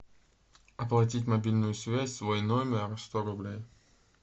оплатить мобильную связь свой номер сто рублей